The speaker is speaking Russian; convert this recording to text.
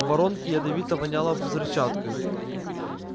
в воронке ядовито воняло взрывчаткой